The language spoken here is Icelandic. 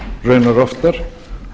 raunar oftar